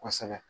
Kosɛbɛ